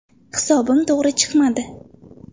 Hisobim to‘g‘ri chiqmadi”.